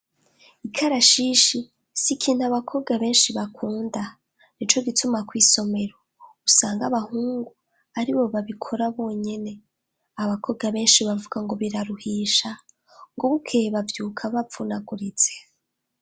Ikarashishi si ikintu abakobwa benshi bakunda. Ni co gituma kw'isomero, usanga abahungu ari bo babikora bonyene, abakobwa benshi bavuga ngo biraruhisha, ngo buke bavyuka bavunaguritse.